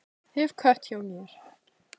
Hef kött hjá mér.